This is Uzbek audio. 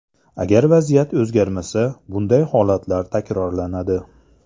Agar vaziyat o‘zgarmasa, bunday holatlar takrorlanadi.